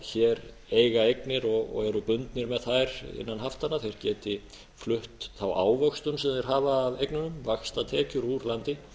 hér eiga eignir og eru bundnir með þær innan haftanna geti flutt þá ávöxtun sem þeir hafa af eignunum vaxtatekjur úr landi